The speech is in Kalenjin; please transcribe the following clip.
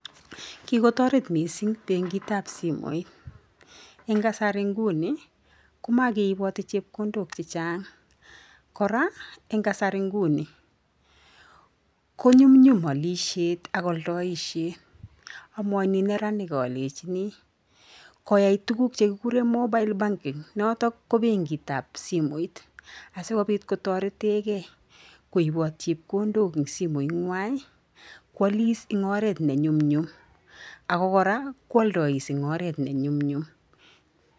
Kikotaret missing' benkitab simooit eng' kasari nguni komageiboti chepkondok chechang'. Kora eng' kasari nguni konyumnyum alishet ak aldaishet. Amwajuijineranik alejini koyai tuguk chekigure mobile banking. Notok ko benkitab simooit asokobit kotaretegei koiboot chepkondok eng simooit ng'wai. Kwalis eng oret ne nyumnyum ako kora kwaldais eng arot ne nyumnyum.